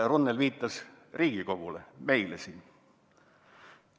" Runnel viitas Riigikogule, meile siin.